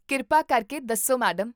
ਕਿਰਪਾ ਕਰਕੇ ਦੱਸੋ ਮੈਡਮ